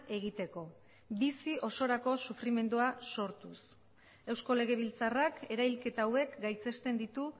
egiteko bizi osorako sufrimendua sortuz eusko legebiltzarrak erailketa hauek gaitzesten ditu